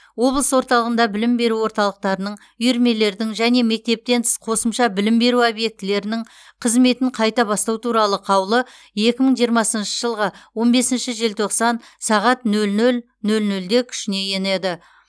облыс орталығында білім беру орталықтарының үйірмелердің және мектептен тыс қосымша білім беру объектілерінің қызметін қайта бастау туралы қаулы екі мың жиырмасыншы жылғы он бесінші желтоқсан сағат нөл нөл нөл нөлде күшіне енеді